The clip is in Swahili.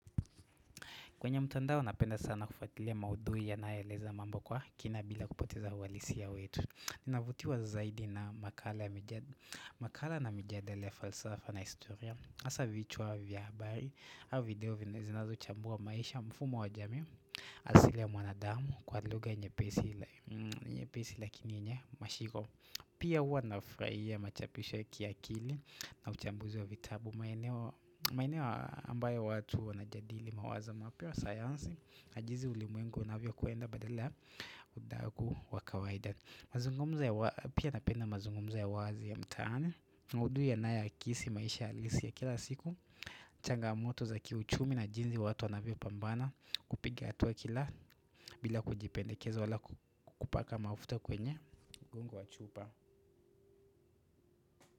Kwenye mtandao napenda sana kufuatilia maudhui ya nayoeleza mambo kwa kina bila kupoteza uhalisia wetu Ninavutiwa zaidi na makala makala na mijadala ya falsafa na historia hasa vichwa vya habari au video vina zinazo chambua maisha mfumo wa jamii asili ya mwanadamu kwa luga nyepesi lakini yenye mashiro Pia huwa nafurahia machapisho ya kiakili na uchambuzi wa vitabu maeneo maeneo ambayo watu wanajadili mawazo mapya wa sayansi Najizi ulimwengu unavyo kwenda badala ya udagu wa kawaida Pia napenda mazungumzo ya wazi ya mtaani Udui ya naya kisi maisha alisi ya kila siku changamoto za kiuchumi na jinzi watu wanavyo pambana kupiga hatua kila bila kujipendekeza wala kupaka mafuta kwenye mgongo wa chupa.